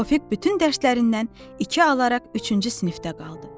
Tofiq bütün dərslərindən iki alaraq üçüncü sinifdə qaldı.